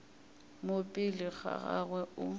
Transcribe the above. mo pele ga gagwe o